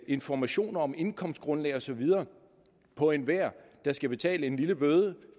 informationer om indkomstgrundlag og så videre for enhver der skal betale en lille bøde